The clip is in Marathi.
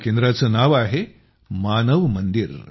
या केंद्राचं नाव आहेमानव मंदिर